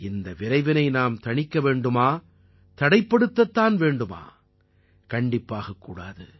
இந்த விரைவினை நாம் தணிக்க வேண்டுமா தடைப்படுத்த வேண்டுமா கண்டிப்பாகக் கூடாது